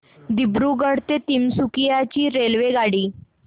दिब्रुगढ ते तिनसुकिया ची रेल्वेगाडी